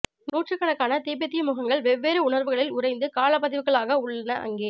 நூற்றுக்கணக்கான திபெத்திய முகங்கள் வெவ்வேறு உணர்வுகளில் உறைந்து காலப்பதிவுகளாக உள்ளன அங்கே